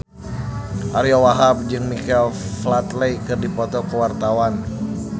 Ariyo Wahab jeung Michael Flatley keur dipoto ku wartawan